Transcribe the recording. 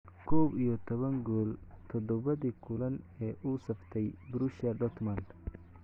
Koow iyo tobaan gool todobadii kulan ee uu u saftay Borussia Dortmund.